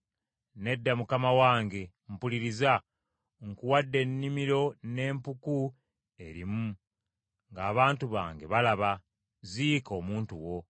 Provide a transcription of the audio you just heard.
“Nedda mukama wange. Mpuliriza. Nkuwadde ennimiro n’empuku erimu, ng’abantu bange balaba, ziika omuntu wo.”